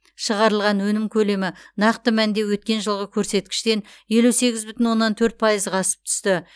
шығарылған өнім көлемі нақты мәнде өткен жылғы көрсеткіштен елу сегіз бүтін оннан төрт пайызға асып түсті